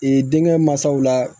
Ee denkɛ mansaw la